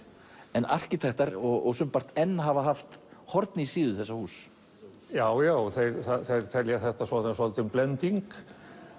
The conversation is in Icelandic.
en arkitektar og sumpart enn hafa horn í síðu þessa húss já já þeir telja þetta svolítinn blending